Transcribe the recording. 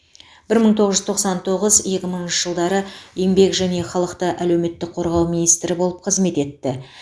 бір мың тоғыз жүз тоқсан тоғыз екі мыңыншы жылдары еңбек және халықты әлеуметтік қорғау министрі болып қызмет етті